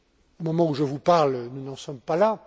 Au moment où je vous parle, nous n'en sommes pas là.